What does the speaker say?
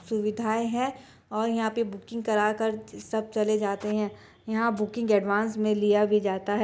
सुविधाएं है और यहाँ पर बुकिंग करा कर सब चले जाते है यहाँ बुकिंग एडवांस में लिया भी जाता है।